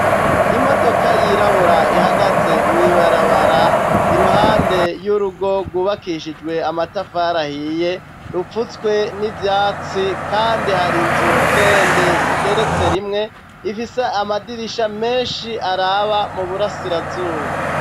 Imodoka yirabura ihagaze mwibarabara iruhande y'urugo rwubakishijwe amatafarahiye rupfutswe n'ivyatsi, kandi hari inzu ndende igeretse rimwe ifise amadirisha menshi araba mu burasirazuba.